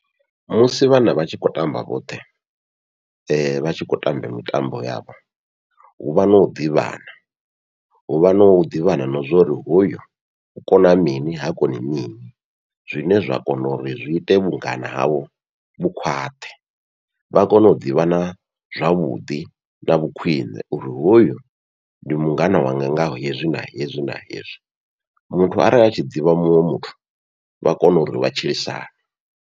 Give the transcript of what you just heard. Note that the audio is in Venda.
Musi vhana vha tshi khou tamba vhoṱhe vha tshi khou tamba mitambo yavho, huvha nau ḓivhana huvha nau ḓivhana na zwa uri hoyu u kona mini ha koni mini, zwine zwa kona uri zwi ite vhungana havho vhu khwaṱhe vha kone u ḓivhana zwavhuḓi na vhu khwiṋe, uri hoyu ndi mungana wanga nga hezwi na hezwi na hezwi muthu arali a tshi ḓivha muthu vha kone uri vha tshilisane.